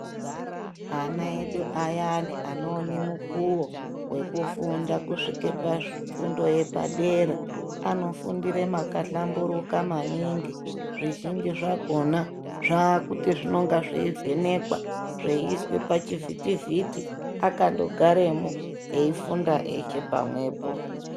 Ana edu ayani anoone mukuvo vekufunda kusvika pafundo yepadera anofundire makahlamburuka maningi. Zvizvinji zvakona zvakuti zvinonga zveivhenekwa zveiiswa pachivhiti-vhiti akandogaremwo eifunda eshe pamwepo.